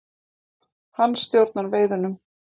Hann stjórnar veiðunum.